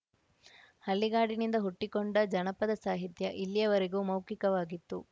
ಹಳ್ಳಿಗಾಡಿನಿಂದ ಹುಟ್ಟಿಕೊಂಡ ಜನಪದ ಸಾಹಿತ್ಯ ಇಲ್ಲಿಯವರೆಗೂ ಮೌಖಿಕವಾಗಿತ್ತು